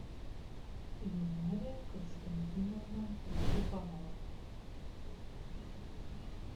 эльнария константиновна жупанова